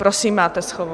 Prosím máte slovo.